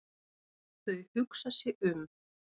Þau hugsa sig um.